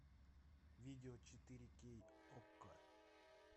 видео четыре кей окко